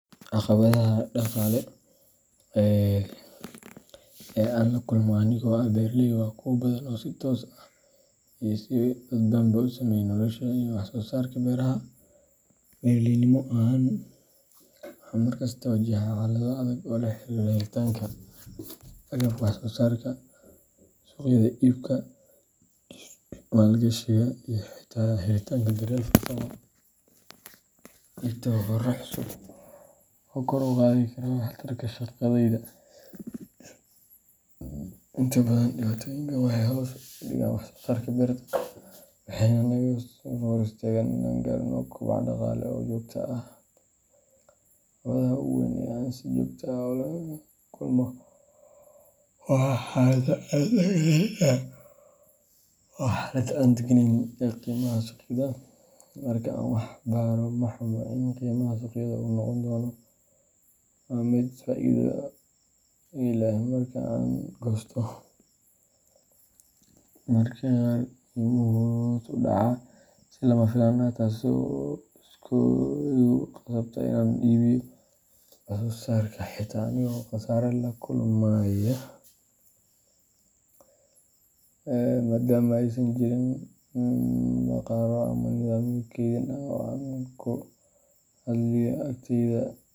Caqabadaha dhaqaale ee aan la kulmo anigoo ah beeraley waa kuwo badan oo si toos ah iyo si dadbanba u saameeya nolosha iyo wax-soo-saarka beeraha. Beeraleynimo ahaan, waxaan mar kasta wajahaa xaalado adag oo la xiriira helitaanka agabka wax-soo-saarka, suuqyada iibka, maalgashiga, iyo xitaa helitaanka daryeel farsamo iyo tababarro cusub oo kor u qaadi kara wax-tarka shaqadayda. Inta badan, dhibaatooyinkaan waxay hoos u dhigaan wax-soo-saarka beerta, waxayna naga hor istaagaan inaan gaarnno koboc dhaqaale oo joogto ah. Caqabadda ugu weyn ee aan si joogto ah ula kulmo waa xaalada aan degganayn ee qiimaha suuqyada. Marka aan wax beero, ma hubo in qiimaha suuqyadu uu noqon doono mid faa’iido ii leh marka aan goosto. Mararka qaar, qiimuhu wuu hoos u dhacaa si lama filaan ah, taasoo igu khasabta inaan iibiyo wax-soo-saarka xitaa anigoo khasaare la kulmaya, maadaama aysan jirin bakhaarro ama nidaamyo kaydin ah oo aan ku keydiyo alaabtayda.